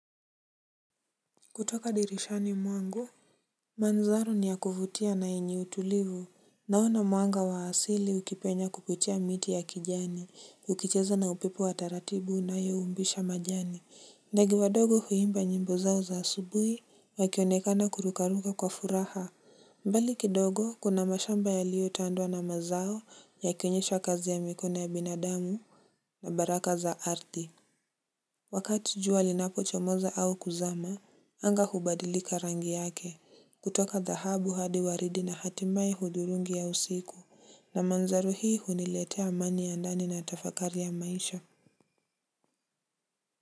Kutoka dirishani mwangu mandhari ni ya kufutia na yenye utulivu. Naona mwanga wa asili ukipenya kupitia miti ya kijani ukicheza na upepo wa taratibu inayoumbisha majani. Ndege wadogo huimba nyimbo zao za asubuhi wakionekana kurukaruka kwa furaha. Mbali kidogo kuna mashamba yaliyotandwa na mazao yakionyesha kazi ya mikono ya binadamu. Na baraka za ardhi wakati jua linapochomoza au kuzama, anga hubadilika rangi yake kutoka dhahabu hadi waridi na hatimaye hudurungi ya usiku na mandhari hii huniletea amani ya ndani na tafakari ya maisha.